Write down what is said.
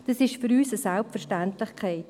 Dies ist für uns eine Selbstverständlichkeit.